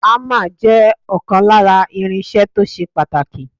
Ámà jẹ́ ọ̀kan lára irinṣẹ́ tó ṣe pàtàkì.